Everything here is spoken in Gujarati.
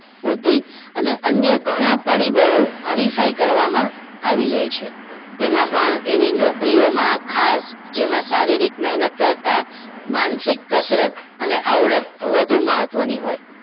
બુદ્ધિ અને અન્ય ઘણા પરિબળો હરીફાઈ કરવામાં આવી જાય છે તેમાં પણ એવી નોકરીઓમાં ખાસ જેમાં શારીરિક મહેનત કરતા માનસિક કસરત અને આવડત વધુ મહત્વની હોય